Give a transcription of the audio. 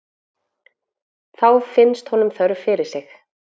Þá finnst honum þörf fyrir sig.